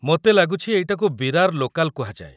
ମୋତେ ଲାଗୁଛି ଏଇଟାକୁ ବିରାର ଲୋକାଲ୍ କୁହାଯାଏ ।